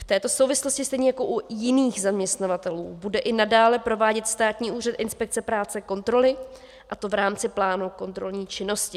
V této souvislosti stejně jako u jiných zaměstnavatelů bude i nadále provádět Státní úřad inspekce práce kontroly, a to v rámci plánu kontrolní činnosti.